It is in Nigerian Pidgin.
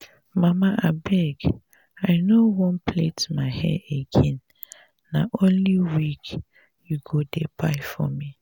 mama abeg i no wan plait my hair again na only wig you go dey buy for me